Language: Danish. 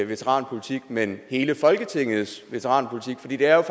veteranpolitik men hele folketingets veteranpolitik for det er